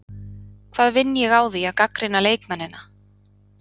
Hvað vinn ég á því að gagnrýna leikmennina?